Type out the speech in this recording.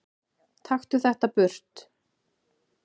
Taktu þetta burt!